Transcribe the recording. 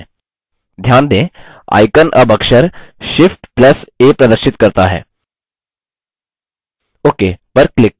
ध्यान दें icon अब अक्षर shift + a प्रदर्शित करता है ok पर click करें